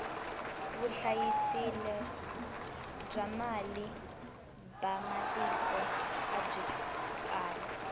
vuhlayiselo bya mali ba matiko abyi kali